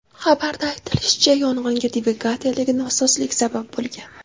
Xabarda aytilishicha, yong‘inga dvigateldagi nosozlik sabab bo‘lgan.